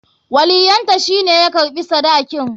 Waliyyanta shi ne ya karɓi sadakin.